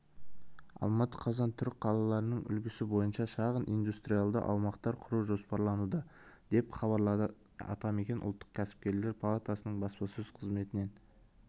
алматы қазан алматыда түрік қалаларының үлгісі бойынша шағын индустриалды аймақтар құру жоспарлануда деп хабарлады атамекен ұлттық кәсіпкерлер палатасының баспасөз қызметінен